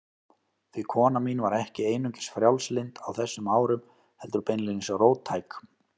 Því kona mín var ekki einungis frjálslynd á þessum árum, heldur beinlínis róttæk.